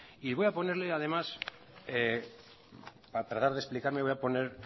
y voy a ponerle además para tratar de explicarme voy a poner